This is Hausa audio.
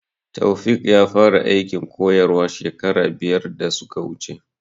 Taofiq ya fara aikin koyarwa shekara biyar da suka wuce